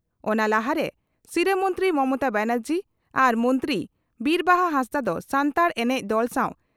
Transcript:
ᱚᱱᱟ ᱞᱟᱦᱟᱨᱮ ᱥᱤᱨᱟᱹ ᱢᱚᱱᱛᱨᱤ ᱢᱚᱢᱚᱛᱟ ᱵᱟᱱᱟᱨᱡᱤ ᱟᱨ ᱢᱚᱱᱛᱨᱤ ᱵᱤᱨ ᱵᱟᱦᱟ ᱦᱟᱸᱥᱫᱟᱜ ᱫᱚ ᱥᱟᱱᱛᱟᱲ ᱮᱱᱮᱡ ᱫᱚᱞ ᱥᱟᱣ